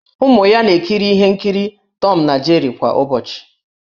Ụmụ ya na-ekiri ihe nkiri Tọm na Jeri kwa ụbọchị.